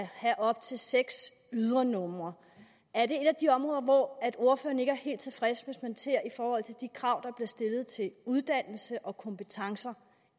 have op til seks ydernumre er det et af de områder hvor ordføreren ikke er helt tilfreds hvis man ser i forhold til de krav der bliver stillet til uddannelse og kompetencer